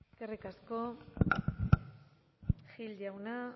eskerrik asko gil jauna